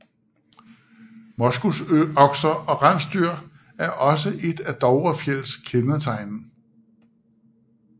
Moskusokser og rensdyr er også et af Dovrefjells kendetegn